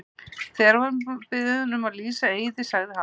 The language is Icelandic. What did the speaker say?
Þegar hann var beðin um að lýsa Eiði sagði hann.